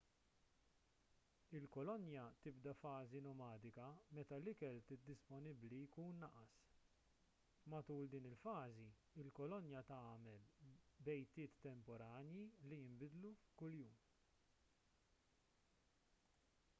il-kolonja tibda fażi nomadika meta l-ikel disponibbli jkun naqas matul din il-fażi il-kolonja tagħmel bejtiet temporanji li jinbidlu kuljum